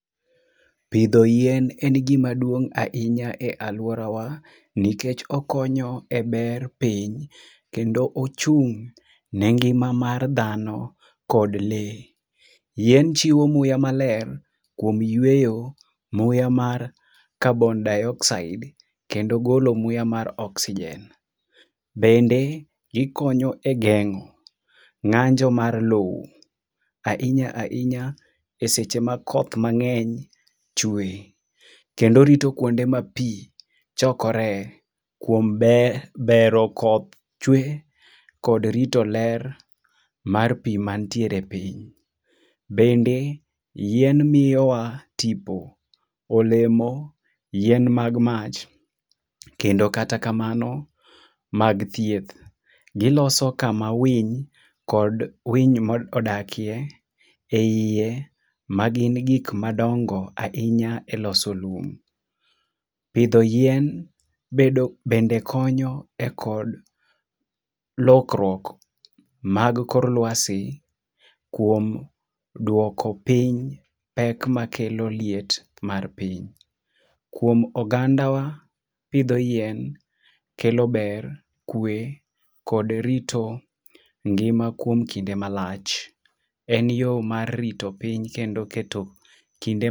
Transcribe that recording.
Pidho yien en gima duong' ahinya e aluorawa nikech okonyo e ber piny, kendo ochung' ne ngima mar dhano kod lee. Yien chiwo muya maler kuom yueyo, muya mar carbondioxide kendo golo muya mar oxygen. Bende gikonyo e geng'o ng'anjo mar lowo ahinya ahinya eseche ma koth mang'eny chwe kendo orito kuonde ma pi chokoree kuom ber bero koth chwe kod rito ler mar pi mantiere piny. .Bende yien miyowa tipo, olemo, yien mag mach kendo kata kamano mag thieth. Giloso kama winy kod winy modakie eiye magin gik madongo ahinya eloso lum. Pidho yien bedo bende konyo ekod lokruok mag kor luasi kuom duoko piny pek makelo liet mar piny. Kuom ogandawa pidho yien kelo ber, kwe kod rito ngima kuom kinde malach. En yo mar rito piny kendo keto kinde